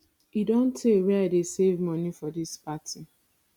e don tey wey i dey save money for dis party